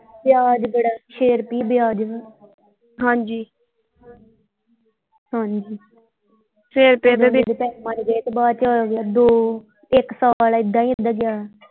ਵਿਆਜ ਬੜਾ ਛੇ ਰੁਪਈਏ ਵਿਆਹ ਵਾ ਹਾਂਜੀ ਹਾਂਜੀ ਛੇ ਪੈਸੇ ਮਾਰੇ ਗਏ ਤੇ ਬਾਅਦ ਚੋਂ ਦੋ ਇੱਕ ਸਾਲ ਐਦਾਂ ਹੀ ਐਦਾਂ ਗਿਆ।